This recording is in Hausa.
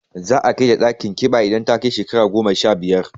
Za a kai ta ɗakin ƙiba idan ta kai shekaru goma sha biyar.